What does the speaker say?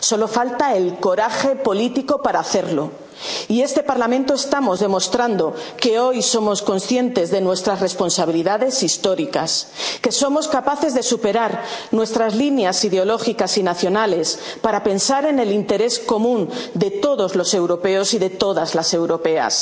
que hacer solo falta el coraje político para hacerlo y, en este Parlamento, estamos demostrando que hoy somos conscientes de nuestras responsabilidades históricas, que somos capaces de superar nuestras líneas ideológicas y nacionales para pensar en el interés común de todos los europeos y de todas las